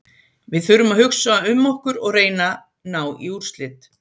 Við þurfum að hugsa um okkur og reyna ná í úrslit.